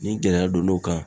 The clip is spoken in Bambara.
Ni gɛlɛya donn'o kan